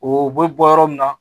O bɛ bɔ yɔrɔ min na